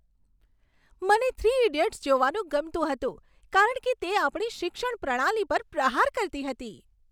મને "three idiots" જોવાનું ગમતું હતું કારણ કે તે આપણી શિક્ષણ પ્રણાલી પર પ્રહાર કરતી હતી.